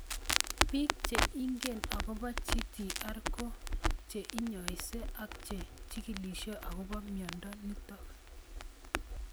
Piik che ingine akopo GTR ko che inyaise ak che chigílishe akopo miondo nitok